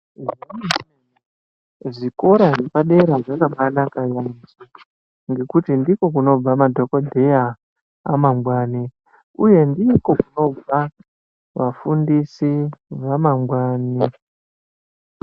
Zvikora zvepa dera zvakambai naka nyamusha ngekuti ndiko kunobva madhokoteya amanwangani uye ndiko kunobva vafundisi vamangwani .